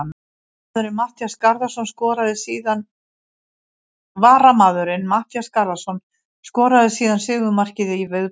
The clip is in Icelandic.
Varamaðurinn Matthías Garðarsson skoraði síðan sigurmarkið í viðbótartíma.